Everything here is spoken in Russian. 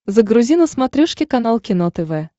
загрузи на смотрешке канал кино тв